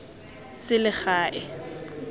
selegae